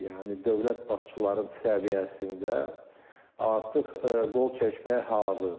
Yəni dövlət başçıların səviyyəsində artıq qol çəkməyə hazırdır.